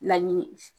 Laɲini